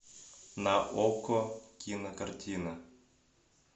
на окко кинокартина